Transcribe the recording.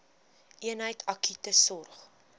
eenheid akute sorg